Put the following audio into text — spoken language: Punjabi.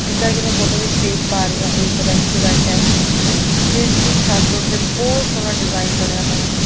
ਜਿੱਦਾਂ ਕਿ ਮੈਂ ਫ਼ੋਟੋ ਵਿੱਚ ਦੇਖ ਪਾ ਰਹੀ ਆਣ ਇਹ ਇੱਕ ਰੈਸਟੂਰੈਂਟ ਐ ਜਿਸ ਦੀ ਛੱਤ ਉੱਤੇ ਬਹੁਤ ਸੋਹਣਾ ਡਿਜ਼ਾਈਨ ਬਣਿਆ ਹੋਇਆ ਹੈ।